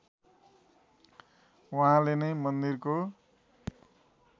उहाँले नै मन्दिरको